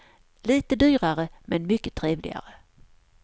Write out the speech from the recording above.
Lite dyrare, men mycket trevligare.